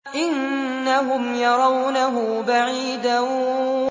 إِنَّهُمْ يَرَوْنَهُ بَعِيدًا